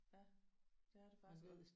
Ja det er det faktisk